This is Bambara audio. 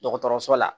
Dɔgɔtɔrɔso la